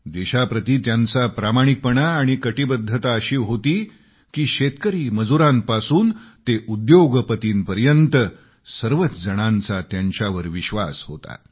देशाप्रती त्यांचा प्रामाणिकपणा आणि कटीबद्धता अशी होती की शेतकरी मजुरांपासून ते उद्योगपतींपर्यंत सर्वच जणांचा त्यांच्यावर विश्वास होता